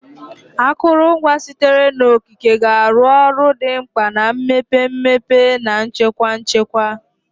Akụrụngwa sitere n'okike ga-arụ ọrụ dị mkpa na mmepe mmepe na nchekwa nchekwa.